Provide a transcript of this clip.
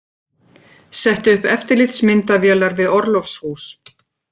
Setti upp eftirlitsmyndavélar við orlofshús